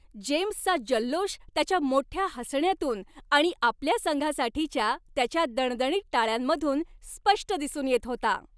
जेम्सचा जल्लोष त्याच्या मोठ्या हसण्यातून आणि आपल्या संघासाठीच्या त्याच्या दणदणीत टाळ्यांमधून स्पष्ट दिसून येत होता.